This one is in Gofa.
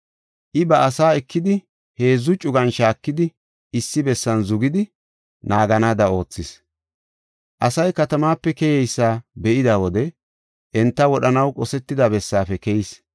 I ba asaa ekidi heedzu cugan shaakidi, issi bessan zugidi naaganaada oothis. Asay katamaape keyeysa be7ida wode enta wodhanaw qosetida bessaafe keyis.